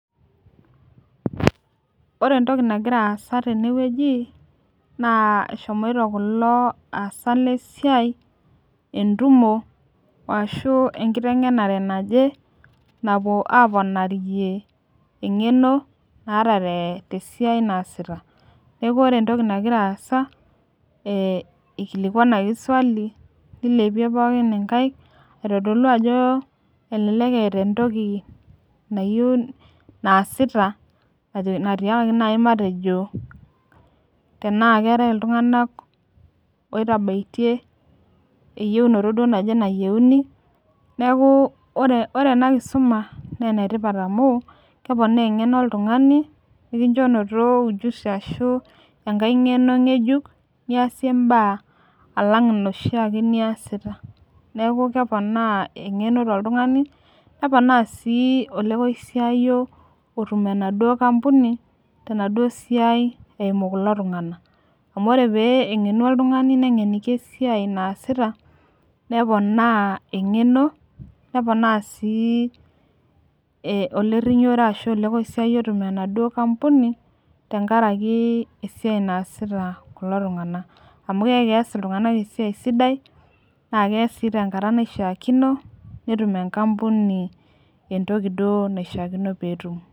ore entoki nangira asa tene weuji na eshomoito kulo osak le siai, entumo ashu enkitengenare naje, napuo aponarie engeno naata tesiai nasita naiku ore entoki nangira asa ee ekilikuanki swali nilepie pooki inkaik, aitodolu ajo elelek eata entoki nayieu nasita, natiakaki naji matejo tena keetae iltunganak, otabaitie eyieunoto naje nayieuni, niaku ore ena kisuma na enetipat amu, kepoona engeno oltungani nikincho inoto ujusi ashu engae ngeno ngejuk niasie imbaa alang inoshi ake niasita, niaku keponaa engeno toltungani, nepoona si olekosiayio, otum enaduo kampuni tenaduo siai eimu kulo tungana, amu ore pee engenu oltungani nengeniki esiai nasita nepona engeno nepoona si, olorinyiore ashu olokosiayio otum enaduo kampuni, tenkaraki esiai nasita kulo tunganak, amu kiaku kias iltunganak esiai sidai netum enkampuni entoki duo nashiakino petum.